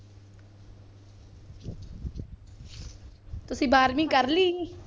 ਤੁਸੀਂ ਬਾਰਵੀਂ ਕਰ ਲਈ?